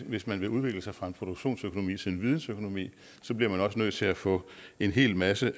hvis man vil udvikle sig fra en produktionsøkonomi til en vidensøkonomi bliver man også nødt til at få en hel masse